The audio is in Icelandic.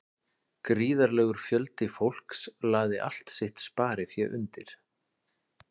Gríðarlegur fjöldi fólks lagði allt sitt sparifé undir.